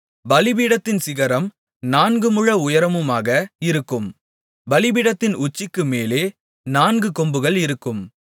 பலிபீடத்தின் சிகரம் நான்குமுழ உயரமுமாக இருக்கும் பலிபீடத்தின் உச்சிக்குமேலே நான்கு கொம்புகள் இருக்கும்